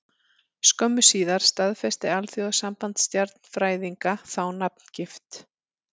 Skömmu síðar staðfesti Alþjóðasamband stjarnfræðinga þá nafngift.